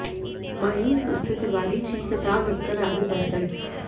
मायूस मन से तिवारी जी किताब रखकर आगे बढ़ गए